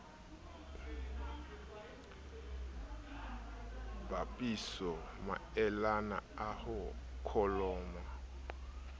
bapisa maelana a ho kholomo